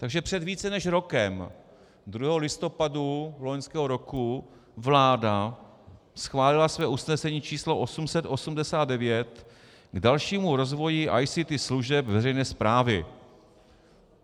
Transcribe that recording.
Takže před více než rokem, 2. listopadu loňského roku, vláda schválila své usnesení č. 889 k dalšímu rozvoji ICT služeb veřejné správy.